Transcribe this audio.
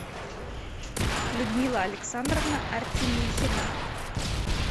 людмила александровна артемихина